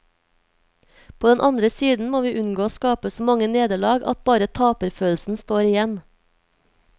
På den andre siden må vi unngå å skape så mange nederlag at bare taperfølelsen står igjen.